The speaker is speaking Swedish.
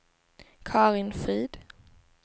Karin Frid